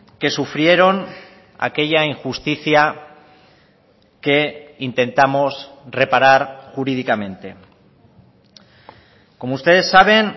que sufrieron aquella injusticia que intentamos reparar jurídicamente como ustedes saben